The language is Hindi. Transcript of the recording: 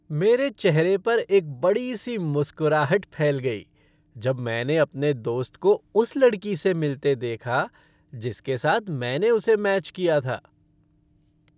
मेरे चेहरे पर एक बड़ी सी मुस्कराहट फैल गई जब मैंने अपने दोस्त को उस लड़की से मिलते देखा जिसके साथ मैंने उसे मैच किया था।